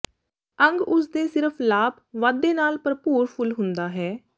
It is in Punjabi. ਅੰਗ ਉਸ ਦੇ ਸਿਰਫ ਲਾਭ ਵਾਧੇ ਨਾਲ ਭਰਪੂਰ ਫੁੱਲ ਹੁੰਦਾ ਹੈ